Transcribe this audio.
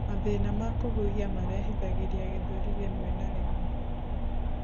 mathĩna ma kuhihia marehithagirĩa gĩthũri rimwe kwa rimwe